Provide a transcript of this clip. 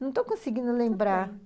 Não estou conseguindo lembrar...